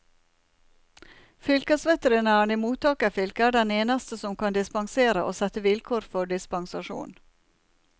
Fylkesveterinæren i mottakerfylket er den eneste som kan dispensere og sette vilkår for dispensasjonen.